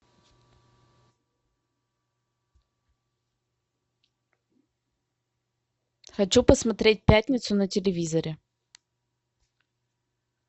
хочу посмотреть пятницу на телевизоре